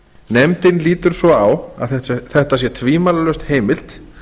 nefndin lítur svo á að þetta sé tvímælalaust heimilt